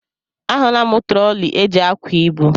A hụla m trọli eji ákwà ibu.